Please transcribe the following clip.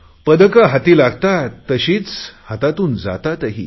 पदके हाती लागतात तशीच हातातून जातातही